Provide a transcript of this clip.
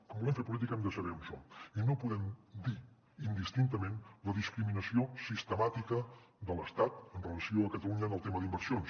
quan volem fer política hem de saber on som i no podem dir indistintament la discriminació sistemàtica de l’estat amb relació a catalunya en el tema d’inversions